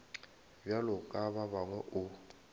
bjalo ka ba bangwe o